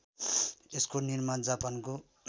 यसको निर्माण जापानको